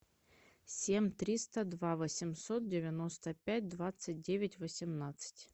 семь триста два восемьсот девяносто пять двадцать девять восемнадцать